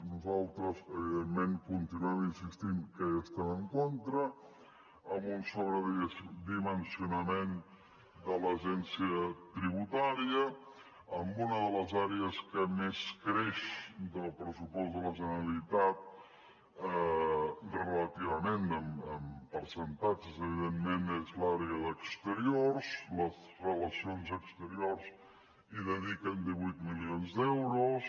nosaltres evidentment continuem insistint que hi estem en contra amb un sobredimensionament de l’agència tributària amb una de les àrees que més creix del pressupost de la generalitat relativament en percentatges evidentment és l’àrea d’exteriors a les relacions exteriors hi dediquen divuit milions d’euros